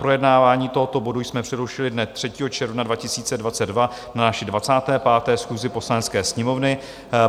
Projednávání tohoto bodu jsme přerušili dne 3. června 2022 na naší 25. schůzi Poslanecké sněmovny.